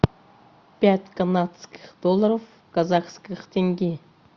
пять канадских долларов в казахских тенге